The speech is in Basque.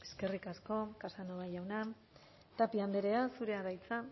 eskerrik asko casanova jauna tapia andrea zurea da hitza